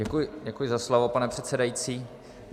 Děkuji za slovo, pane předsedající.